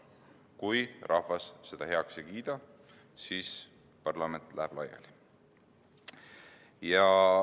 Kui rahvas eelnõu heaks ei kiida, siis läheb parlament laiali.